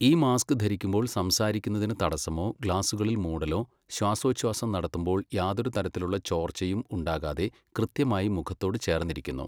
ഈ മാസ്ക് ധരിക്കുമ്പോൾ സംസാരിക്കുന്നതിന് തടസ്സമോ, ഗ്ലാസ്സുകളിൽ മൂടലോ, ശ്വാസോഛ്വാസം നടത്തുമ്പോൾ യാതൊരു തരത്തിലുമുള്ള ചോർച്ചയും ഉണ്ടാകാതെ കൃത്യമായി മുഖത്തോട് ചേർന്നിരിക്കുന്നു.